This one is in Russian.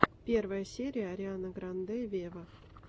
первая серия ариана гранде вево